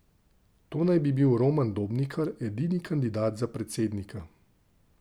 To naj bi bil Roman Dobnikar, edini kandidat za predsednika.